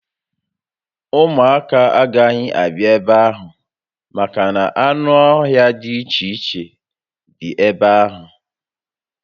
Ụmụaka agaghi abịa ebe ahụ maka na anụ ọhia di iche iche dịcha ebe ahụ